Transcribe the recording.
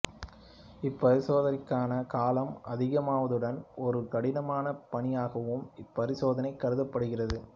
இப்பரிசோதனைக்கான காலம் அதிகமாவதுடன் ஒரு கடினமான பணியாகவும் இப்பரிசோதனை கருதப்படுகிறது